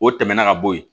O tɛmɛnen ka bɔ yen